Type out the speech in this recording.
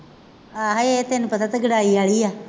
ਆਹੀ ਤੈਨੂੰ ਪਤਾ ਤਗੜਾਈ ਵਾਲੀ ਆ,